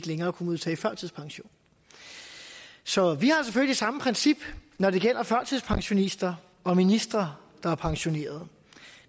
længere kunne modtage førtidspension så vi har selvfølgelig samme princip når det gælder førtidspensionister og ministre der er pensionerede